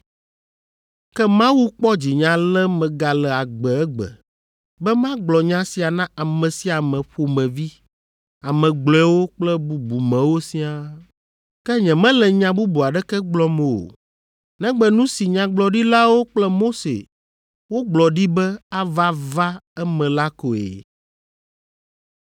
Ke Mawu kpɔ dzinye ale megale agbe egbe, be magblɔ nya sia na ame sia ame ƒomevi, ame gblɔewo kple bubumewo siaa. Ke nyemele nya bubu aɖeke gblɔm o, negbe nu si nyagblɔɖilawo kple Mose wogblɔ ɖi be ava va eme la koe.